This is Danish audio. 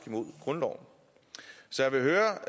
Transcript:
mod grundloven så jeg vil høre